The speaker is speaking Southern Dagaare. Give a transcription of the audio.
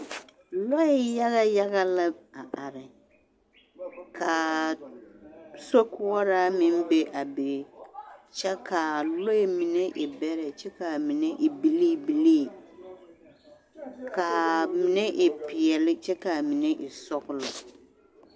Lɔɛ yaɡa yaɡa la a are ka sokoɔraa meŋ be a be kyɛ ka lɔɛ mine e bɛrɛ kyɛ ka a mine e biliibilii ka a mine e peɛle kyɛ ka a mine e sɔɡelɔ.